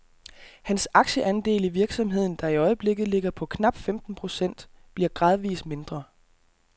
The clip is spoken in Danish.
Hans aktieandel i virksomheden, der i øjeblikket ligger på knap femten procent, bliver gradvis mindre.